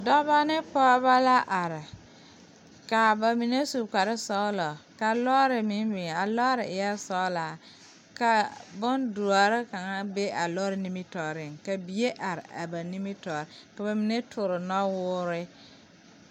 Dɔbɔ ne pɔɔbɔ la are kaa ba mine su kparesɔglɔ ka lɔɔre meŋ biŋ a lɔɔre pare eɛɛ sɔglaa ka bondoɔre kaŋa be a lɔre nimitooreŋ ka bie are a ba nimitoore ka ba mine toore nɔwoore.